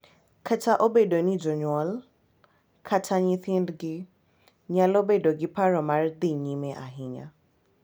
Kata obedo ni jonyuol kata nyithindgi nyalo bedo gi paro ma dhi nyime ahinya.